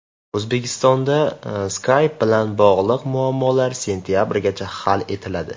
O‘zbekistonda Skype bilan bog‘liq muammolar sentabrgacha hal etiladi.